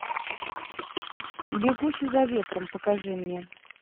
бегущий за ветром покажи мне